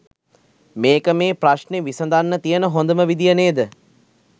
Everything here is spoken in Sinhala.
මේක මේ ප්‍රශ්නෙ විසඳන්න තියන හොඳම විදිය නේද?